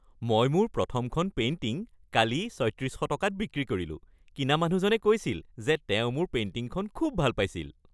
মই মোৰ প্ৰথমখন পেইণ্টিং কালি ৩৬০০ টকাত বিক্ৰী কৰিলোঁ। কিনা মানুহজনে কৈছিল যে তেওঁ মোৰ পেইণ্টিংখন খুব ভাল পাইছিল!